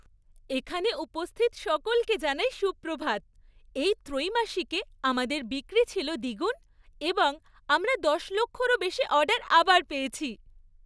এখানে উপস্থিত সকলকে জানাই সুপ্রভাত। এই ত্রৈমাসিকে আমাদের বিক্রি ছিল দ্বিগুণ এবং আমরা দশ লক্ষরও বেশি অর্ডার আবার পেয়েছি।